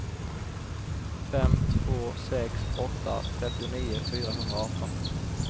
fem två sex åtta trettionio fyrahundraarton